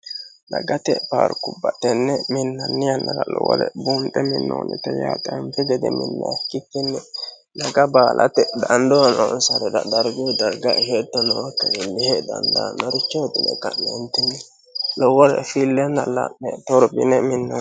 Dagate paarkubba tenne minnanni yannara lowore buunxe minnoonnite yaate. anfi gede minnoonnire ikkikki daga baalate dandoo noonsarira darguyi darga shetto nooyikkiha iillishe dandaannorichoti yine ka'neentinni lowore fillenna la'ne torbine minnoonni yaate.